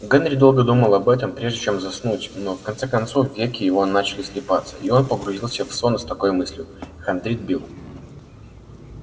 генри долго думал об этом прежде чем заснуть но в конце концов веки его начали слипаться и он погрузился в сон с такой мыслью хандрит билл